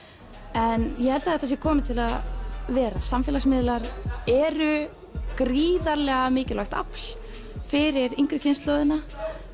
en ég held að þetta sé komið til að vera samfélagsmiðlar eru gríðarlega mikilvægt afl fyrir yngri kynslóðina